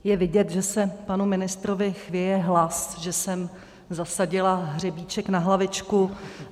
Je vidět, že se panu ministrovi chvěje hlas, že jsem zasadila hřebíček na hlavičku.